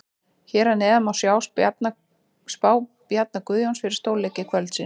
Hér að neðan má sjá spá Bjarna Guðjóns fyrir stórleiki kvöldsins.